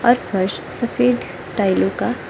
ओर फर्श सफेद टाइलों का--